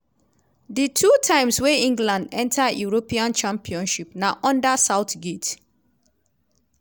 di two times wey england enta european championship na under southgate.